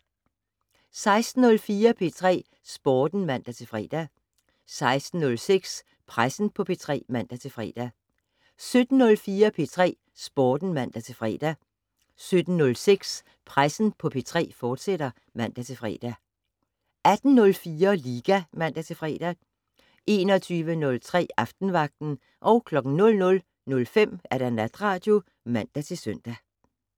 16:04: P3 Sporten (man-fre) 16:06: Pressen på P3 (man-fre) 17:04: P3 Sporten (man-fre) 17:06: Pressen på P3, fortsat (man-fre) 18:04: Liga (man-fre) 21:03: Aftenvagten 00:05: Natradio (man-søn)